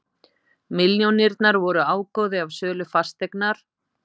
Milljónirnar voru ágóði af sölu fasteignar